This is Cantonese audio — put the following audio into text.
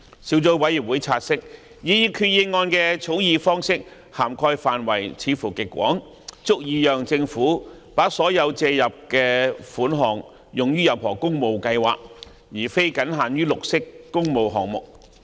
小組委員會察悉，擬議決議案的草擬方式涵蓋範圍似乎極廣，足以讓政府把所借入的款項用於任何工務計劃，而非僅限於綠色工務項目。